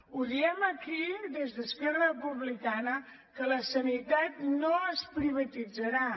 ho diem aquí des d’esquerra republicana que la sanitat no es privatitzarà